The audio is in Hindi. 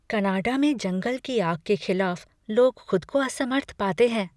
कनाडा में जंगल की आग के खिलाफ लोग खुद को असमर्थ पाते हैं।